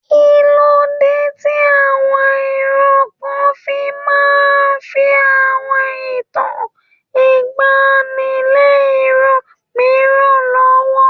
Kí ló dé tí àwọn ìran kan máa ń fi àwọn ìtàn ìgbaanì lé ìran mìíràn lọ́wọ́?